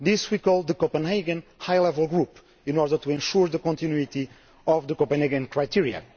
to. This we call the Copenhagen High Level Group, in order to ensure the continuity of the Copenhagen criteria.